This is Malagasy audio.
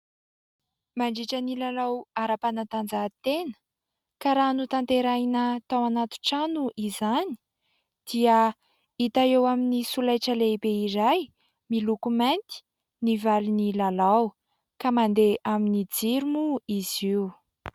Mandritra ny lalao ara-panatanjahantena, ka raha notanterahina tao anaty trano izany dia hita eo amin'ny solaitra lehibe iray miloko mainty ny valin'ny lalao. Ka mandeha amin'ny jiro moa izy io.